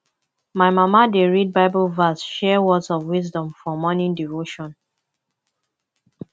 my mama dey read bible verse share words of wisdom for morning devotion